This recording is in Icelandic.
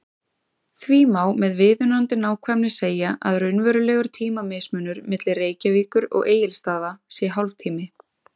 Því má með viðunandi nákvæmni segja að raunverulegur tímamismunur milli Reykjavíkur og Egilsstaða sé hálftími.